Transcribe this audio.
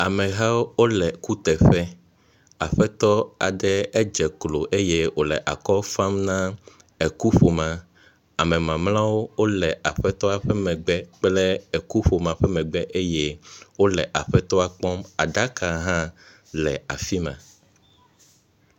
Amehawo wo le kuteƒe. aƒetɔ aɖe edz klo eye wo le akɔ fam na ekuƒomea. Ame mamleawo wo le aƒetɔ aɖe ƒe megbe kple ekuƒomea ƒe megbe eye wo le aƒetɔa kpɔm. aɖaka hã le afi ma.